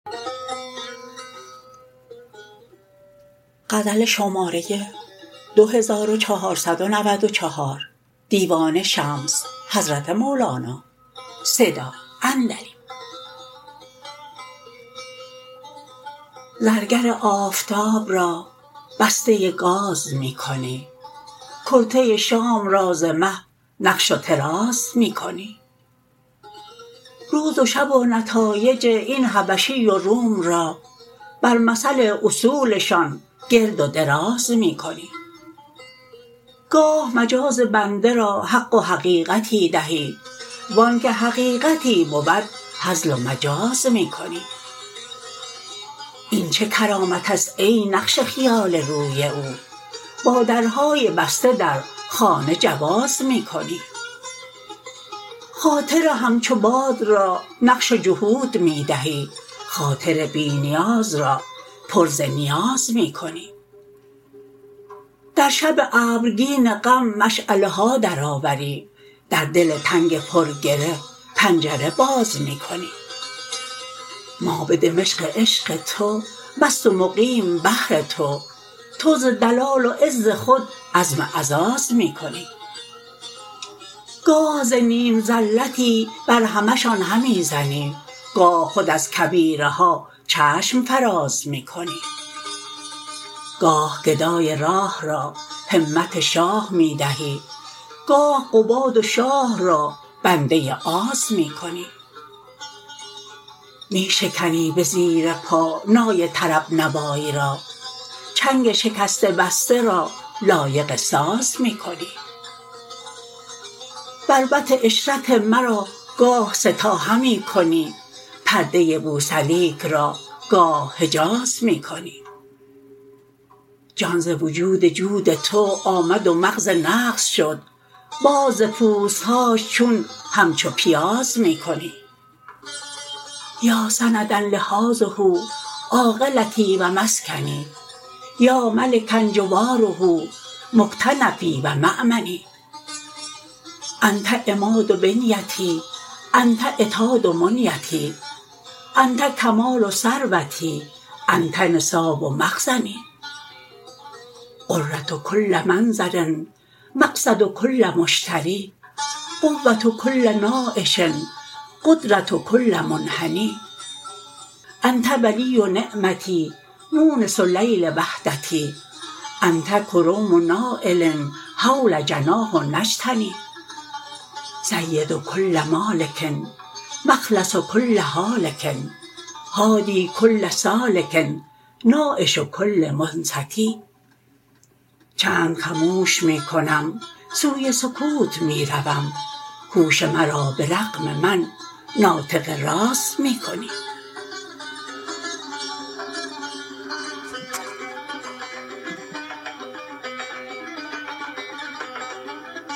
زرگر آفتاب را بسته گاز می کنی کرته شام را ز مه نقش و طراز می کنی روز و شب و نتایج این حبشی و روم را بر مثل اصولشان گرد و دراز می کنی گاه مجاز بنده را حق و حقیقتی دهی و آنک حقیقتی بود هزل و مجاز می کنی این چه کرامت است ای نقش خیال روی او با درهای بسته در خانه جواز می کنی خاطر همچو باد را نقش جحود می دهی خاطر بی نیاز را پر ز نیاز می کنی در شب ابرگین غم مشعله ها درآوری در دل تنگ پرگره پنجره باز می کنی ما به دمشق عشق تو مست و مقیم بهر تو تو ز دلال و عز خود عزم عزاز می کنی گاه ز نیم زلتی برهمشان همی زنی گاه خود از کبیرها چشم فراز می کنی گاه گدای راه را همت شاه می دهی گاه قباد و شاه را بنده آز می کنی می شکنی به زیر پا نای طرب نوای را چنگ شکسته بسته را لایق ساز می کنی بربط عشرت مرا گاه سه تا همی کنی پرده بوسلیک را گاه حجاز می کنی جان ز وجود جود تو آمد و مغز نغز شد باز ز پوست هاش چون همچو پیاز می کنی